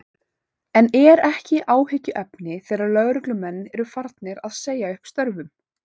En er ekki áhyggjuefni þegar lögreglumenn eru farnir að segja upp störfum?